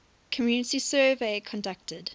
community survey conducted